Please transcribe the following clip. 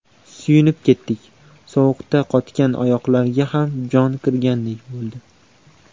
Suyunib ketdik, sovuqda qotgan oyoqlarga ham jon kirgandek bo‘ldi.